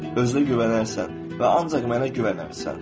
Özünə güvənərsən və ancaq mənə güvənərsən.